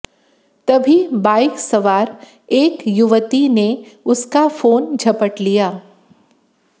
तभी बाइक सवार एक युवती ने उसका फोन झपट लिया